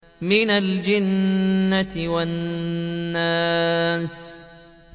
مِنَ الْجِنَّةِ وَالنَّاسِ